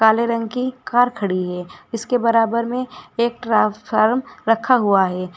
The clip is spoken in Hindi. काले रंग की कार खड़ी है इसके बराबर में एक ट्रांसफॉर्म रखा हुआ है।